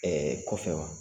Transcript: Ɛɛ kɔ fɛ wa?